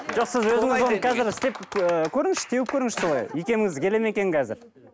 жоқ сіз өзіңіз оны қазір істеп ы көріңізші теуіп көріңізші солай икеміңіз келе ме екен қазір